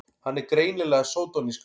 Hann er greinilega sódónískur!